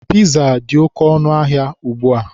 Piza dị oke ọnụ ahịa ugbua.